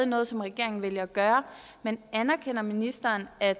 noget som regeringen vælger at gøre men anerkender ministeren at